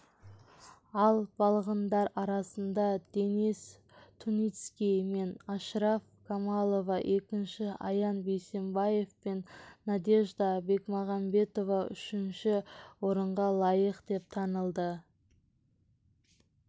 ал балғындар арасында дэнис туницкий мен ашраф камалова екінші аян бейсенбаев пен надежда бекмағамбетова үшінші орынға лайық деп танылды